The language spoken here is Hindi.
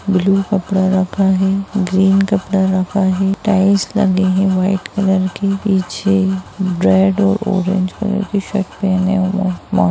ब्लु कपडा रखा है ग्रीन कपडा रखा है टाइल्स लगे है व्हाईट कलर के पीछे रेड और ऑरेंज कलर के शर्ट पहने हुए--